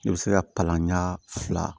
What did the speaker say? I bɛ se ka palan ɲa fila